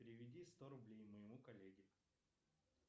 переведи сто рублей моему коллеге